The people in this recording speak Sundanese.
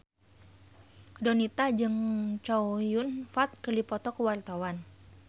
Donita jeung Chow Yun Fat keur dipoto ku wartawan